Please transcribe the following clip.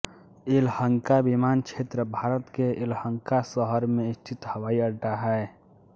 येलहंका विमानक्षेत्र भारत के येलहंका शहर में स्थित हवाई अड्डा है